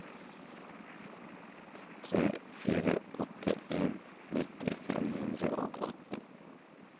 tre fire åtte en nitti fem hundre og atten